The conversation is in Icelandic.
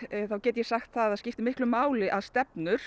þá get ég sagt að það skiptir miklu máli að stefnur